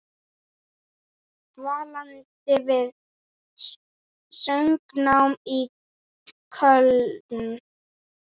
Dvaldi við söngnám í Köln.